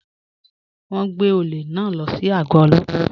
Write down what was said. Wọn n gbẹ̀ ọ̀lẹ̀ náà ló sí ago òlópà.